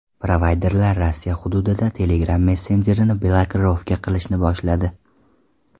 Provayderlar Rossiya hududida Telegram messenjerini blokirovka qilishni boshladi.